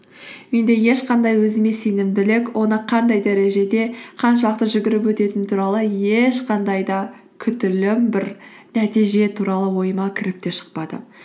менде ешқандай өзіме сенімділік оны қандай дәрежеде қаншалықты жүгіріп өтетін туралы ешқандай да күтілім бір нәтиже туралы ойыма кіріп те шықпады